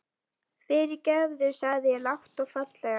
Fyrirgefðu, segi ég lágt og fallega.